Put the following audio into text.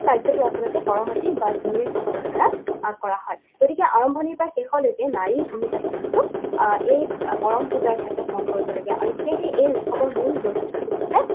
কাৰ্যটো আচলতে কৰমতি বা ঝুমেৰ সকলৰ দ্বাৰা আহ কৰা হয়। গতিকে আৰম্ভণিৰ পৰা শেষলৈকে নাৰীৰ ভূমিকাটো কিন্তু আহ এই কৰম পূজাৰ ক্ষেত্ৰত মন কৰিবলগীয়া। আৰু সেয়েহে এই উৎসৱৰ মূল বৈশিষ্ট্যটো হৈছে